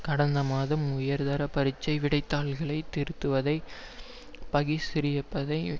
கடந்த மாதம் உயர் தர பரீட்சை விடைத் தாள்களை திருத்துவதை பகிஷ்கரிப்பதை